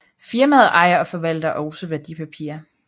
Firmaet ejer og forvalter også værdipapirer